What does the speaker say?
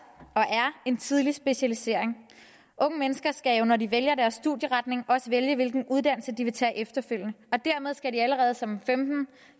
en tidlig specialisering unge mennesker skal når de vælger deres studieretning også vælge hvilken uddannelse de vil tage efterfølgende og dermed skal de allerede som